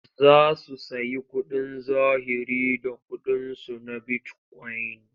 Za su sayi kuɗin zahiri da ƙuɗinsu na bitikoyin.